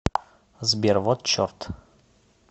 сбер вот черт